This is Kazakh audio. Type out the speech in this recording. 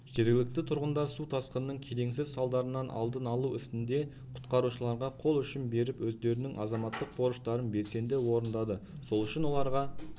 жергілікті тұрғындар су тасқынының келеңсіз салдарларының алдын алу ісінде құтқарушыларға қол ұшын беріп өздерінің азаматтық борыштарын белсенді орындады сол үшін оларға